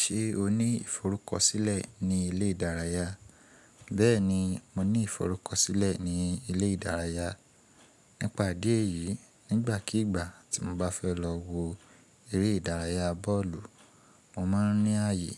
Ṣé o ní iforukọsilẹ ní ilé ìdárayá? Bẹ́ẹ̀ni, mo ní iforukọsilẹ ní ilé ìdárayá. Nípa idí ẹ̀yìí, nígbàkígbà tí mo bá fẹ́ lọ wo eré ìdárayá bọ́ọ̀lù, mo máa ń ní ààyè